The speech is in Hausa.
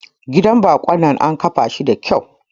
Gidan bako dinnan an kafa shi da kyau.